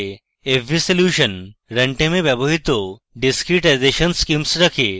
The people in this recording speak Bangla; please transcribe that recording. fvsolution run time এ ব্যবহৃত discretization schemes রাখে